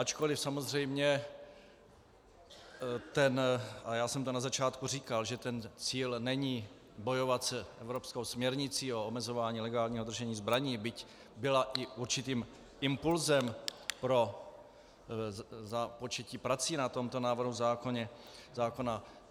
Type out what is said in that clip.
Ačkoliv samozřejmě, a já jsem to na začátku říkal, že ten cíl není bojovat s evropskou směrnicí o omezování legálního držení zbraní, byť byla i určitým impulsem pro započetí prací na tomto návrhu zákona.